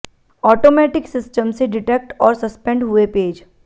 automatic system से detect और suspend हुए पेज